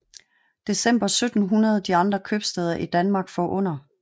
December 1700 de andre Kiøbsteder i Danmark forunder